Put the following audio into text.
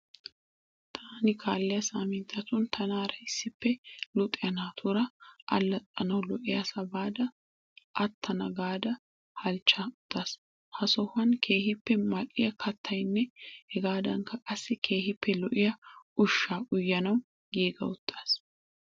Taani kaalliya saaminttatun tanaara issippe luxiya naatuura allaxxanawu lo'iyasaa baada aattana gaada halichcha uttaas. Ha sohuwan keehippe mal'iya kattatanne hegaadankka qassi keehippe lo'iya ushshaa uyanawu giiga uttaas.